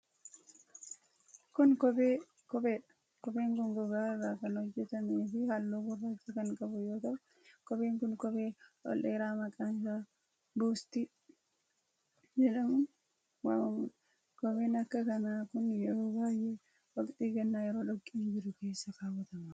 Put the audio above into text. Kun, kophee dha. Kopheen kun gogaa irraa kan hojjatamee fi haalluu gurraacha kan qabu yoo ta'u, kopheen kun kophee ol dheeraa maqaan isaa buutsii jedhamuun waamamuu dha. Kopheen akka kanaa kun yeroo baay'ee waqtii gannaa yeroo dhoqqeen jiru keessa kaawwatama.